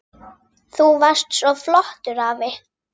Þú varst svo flottur afi.